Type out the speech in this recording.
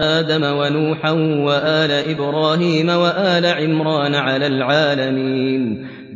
آدَمَ وَنُوحًا وَآلَ إِبْرَاهِيمَ وَآلَ عِمْرَانَ عَلَى الْعَالَمِينَ